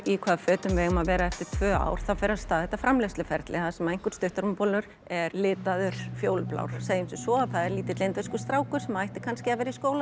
í hvaða fötum við eigum að vera í eftir tvö ár þá fer af stað þetta framleiðsluferli þar sem einhver stuttermabolur er litaður fjólublár segjum sem svo að það er lítill indverskur strákur sem ætti kannski að vera í skóla